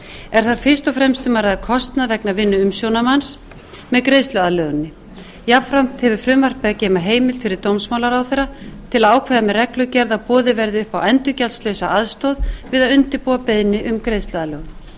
er þar fyrst og fremst um að ræða kostnað vegna vinnu umsjónarmanns með greiðsluaðlöguninni jafnframt hefur frumvarp í sér heimild fyrir dómsmálaráðherra til að ákveða með reglugerð að boðið verði upp á endurgjaldslausa aðstoð við að undirbúa beiðni um greiðsluaðlögun